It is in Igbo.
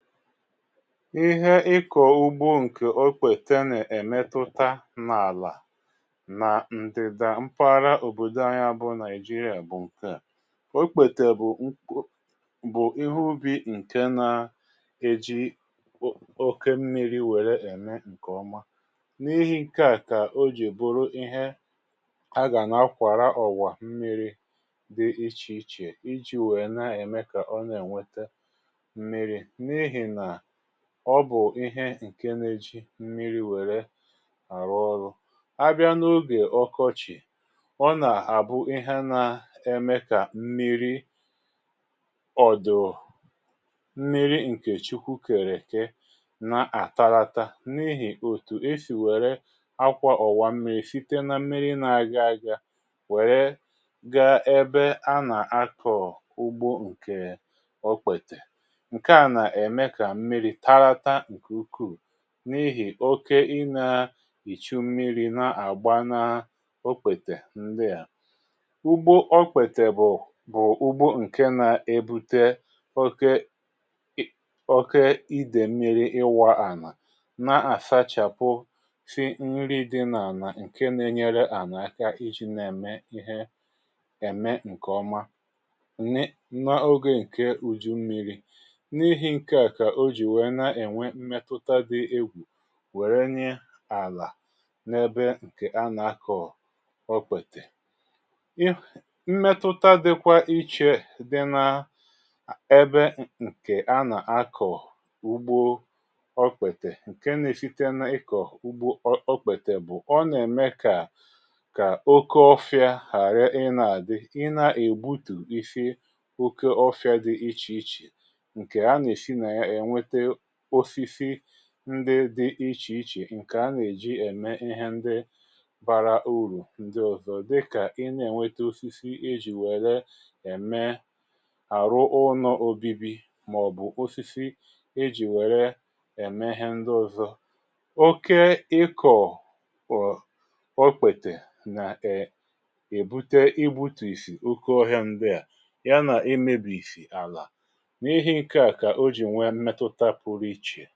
Ịhe ịkọ ugbo nke okpete na-emetụta n’àlà na ndịda mpahara òbòdo anyị a bu Naijiria bu nke à: okpete bụ um bụ ihe ubi nke na-eji oke mmiri wère eme nke ọma na ihe nke à ka o ji bụrụ ihe a ga na-akwara ọwà mmiri dị iche ichè iji wee na-eme ka ọ na-enweta mmiri n'ihi na ọbụ ihe ǹke n'ėjị mmiri̇ wère àrụ ọrụ. A bịa n’ogè ọkọchị̀, ọ nà-àbụ ihe na-eme kà mmiri ọ̀dụ̀ọ̀ mmiri ǹkè chukwùkèrè ekè na-àtalata n’ihì òtù e sì wère akwȧ ọ̀wà mmiri̇ site na mmiri̇ nȧ-aga aga wèrè ga ebe a nà-akọ̀ ugbȯ ǹkè okpètè. Nkea na eme ka mmiri talata nke ukwuu n’ihì oke ịna-ịchụ mmiri̇ na-àgba na okpètè ndị à. Ugbo okpètè bụ̀ bụ̀ ugbo ǹke nȧ-ebute oke oke idèmmiri̇ ịwọ̇ ànà na-asachapụ si mmiri di n’àlà ǹke na-enyere ànaka iji̇ na-eme ihe eme ǹkè ọma na ogè ǹke uju̇ mmiri̇ n'ihi nkea ka oji wee na enwe mmetụta dị egwu wèrè nye ala na ebe nke ana akọ okpete. Um mmetụta dịkwa iche dị na ebe nke ana akọ ugbo okpete nke na esite na ịkọ ugbo okpètè bụ ọna eme ka kà oke ọfia ghara ina adị ịna egbutusi oke ọfia dị ichè ichè ǹkè a nà- esi na ya enweta osisi ndị dị ichè ichè nke ana èji ème ihe ndị bara urù ndị ọzọ dịkà ị na-ènwete osisi ijì wère ème àrụ ụnọ obibi, màọ̀bụ̀ osisi ejì wère ème ihe ndị ọzọ. Oke ịkọ̀ ọ̀ okpètè nà um èbute igbutù isì oke ọhia ndị à ya nà ị mebi ìsì àlà n'ihi ǹkẹ̀ a ka oji wee nwee mmetụta pụrụ ichè.